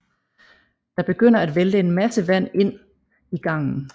Der begynder at vælte en masse vand ind i gangen